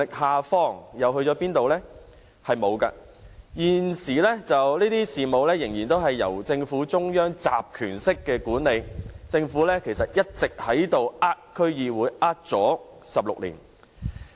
是沒有的。現時，這些事務仍然由政府中央集權式管理，政府一直在欺騙區議會，騙了16年。